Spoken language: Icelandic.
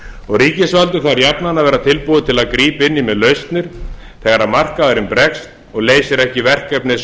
sínum ríkisvaldið þarf jafnan að vera tilbúið að grípa inn í með lausnir þegar markaðurinn bregst og leysir ekki verkefnið